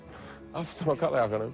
aftan á